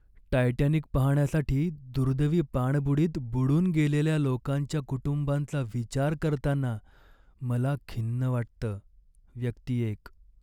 Titanic पाहण्यासाठी दुर्दैवी पाणबुडीत बुडून गेलेल्या लोकांच्या कुटुंबांचा विचार करताना मला खिन्न वाटतं. व्यक्ती एक